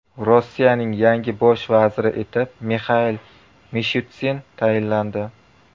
Rossiyaning yangi bosh vaziri etib Mixail Mishustin tayinlandi .